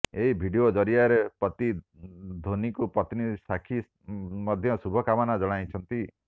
ଏହି ଭିଡିଓ ଜରିଆରେ ପତି ଧୋନିଙ୍କୁ ପତ୍ନୀ ସାକ୍ଷୀ ମଧ୍ୟ ଶୁଭକାମନା ଜଣାଇଛନ୍ତି